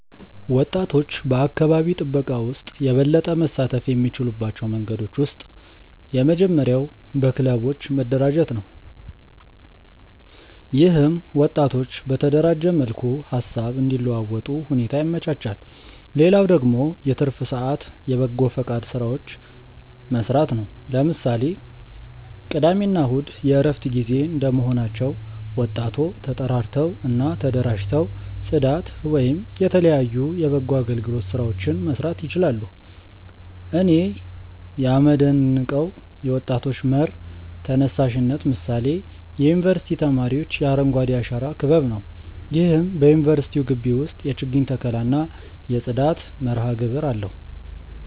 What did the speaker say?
ወጣቶች በአካባቢ ጥበቃ ውስጥ የበለጠ መሳተፍ የሚችሉባቸው መንገዶች ውስጥ የመጀመሪያው በክለቦች መደራጀት ነው። ይህም ወጣቶች በተደራጀ መልኩ ሃሳብ እንዲለዋወጡ ሁኔታ ያመቻቻል። ሌላው ደግሞ የትርፍ ሰአት የበጎፈቃድ ስራዎችን መስራት ነው። ለምሳሌ ቅዳሜ እና እሁድ የእረፍት ጊዜ እንደመሆናቸው ወጣቶ ተጠራርተው እና ተደራጅተው ፅዳት ወይም የተለያዩ የበጎ አገልግሎት ስራዎችን መስራት ይችላሉ። እኔ ያመደንቀው የወጣቶች መር ተነሳሽነት ምሳሌ የዩኒቨርስቲ ተማሪዎች የአረንጓዴ አሻራ ክበብ ነው። ይህም በዩኒቨርስቲው ግቢ ውስጥ የችግኝ ተከላ እና የጽዳት መርሃግብር አለው።